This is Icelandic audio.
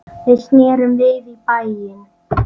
Við snerum við í bæinn.